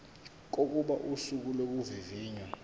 kokuba usuku lokuvivinywa